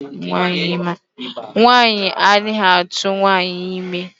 Nwaanyị anaghị atụwa nwaanyị ime.